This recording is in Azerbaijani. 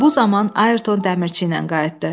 Bu zaman Ayrton dəmirçi ilə qayıtdı.